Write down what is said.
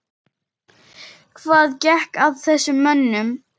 Hvað gekk að þessum mönnum?